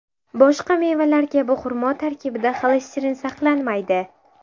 Boshqa mevalar kabi xurmo tarkibida xolesterin saqlanmaydi.